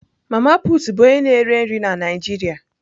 Mama put bụ onye na-ere nri na Naịjirịa.